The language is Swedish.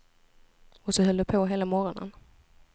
Och så höll det på hela morgonen.